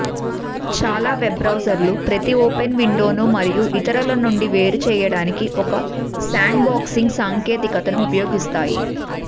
చాలా వెబ్ బ్రౌజర్లు ప్రతి ఓపెన్ విండోను మరియు ఇతరులనుండి వేరు చేయటానికి ఒక శాండ్బాక్సింగ్ సాంకేతికతను ఉపయోగిస్తాయి